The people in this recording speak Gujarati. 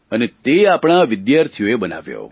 અને તે આપણા આ વિદ્યાર્થીઓએ બનાવ્યો